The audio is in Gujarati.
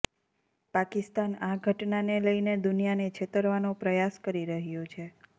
પાકિસ્તાન આ ઘટનાને લઈને દુનિયાને છેતરવાનો પ્રયાસ કરી રહ્યું છે